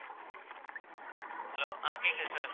hello ஆஹ் கேட்குது சொல்லுங்க